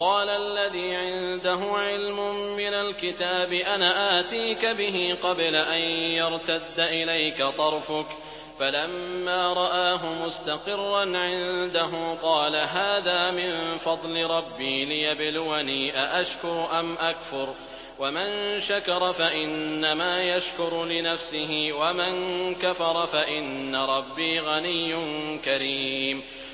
قَالَ الَّذِي عِندَهُ عِلْمٌ مِّنَ الْكِتَابِ أَنَا آتِيكَ بِهِ قَبْلَ أَن يَرْتَدَّ إِلَيْكَ طَرْفُكَ ۚ فَلَمَّا رَآهُ مُسْتَقِرًّا عِندَهُ قَالَ هَٰذَا مِن فَضْلِ رَبِّي لِيَبْلُوَنِي أَأَشْكُرُ أَمْ أَكْفُرُ ۖ وَمَن شَكَرَ فَإِنَّمَا يَشْكُرُ لِنَفْسِهِ ۖ وَمَن كَفَرَ فَإِنَّ رَبِّي غَنِيٌّ كَرِيمٌ